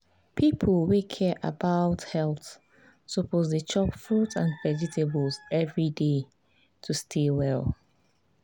people wey care about health suppose dey chop fruit and vegetables every day to stay well.